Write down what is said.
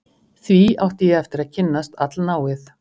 Því átti ég eftir að kynnast allnáið.